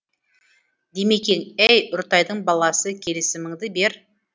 димекең әй үртайдың баласы келісіміңді бер